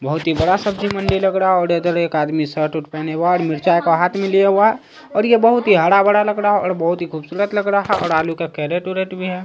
बोहोत ही बड़ा सब्जी मंडी लग रहा है और इधर एक आदमी शर्ट वृत पेहेने वाद्य में चाय को हाथ में लिया हुआ और ये बोहोत ही हरा-भरा लग रहा और बोहोत ही खुबसूरत भी लग रहा और आलू के कैरेट वेरेट भी है।